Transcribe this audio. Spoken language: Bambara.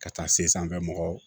Ka taa se sanfɛ mɔgɔ